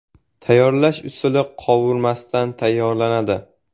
Tayyorlash usuli – qovurmasdan tayyorlanadi.